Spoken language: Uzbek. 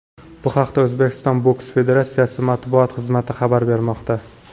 Bu haqda O‘zbekiston boks federatsiyasi matbuot xizmati xabar bermoqda .